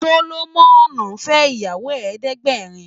Solomon fè iyàwó èédègbèrín